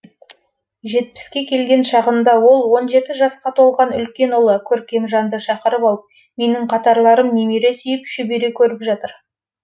жетпіске келген шағында ол он жеті жасқа толған үлкен ұлы көркемжанды шақырып алып менің қатарларым немере сүйіп шөбере көріп жатыр